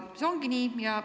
See ongi nii.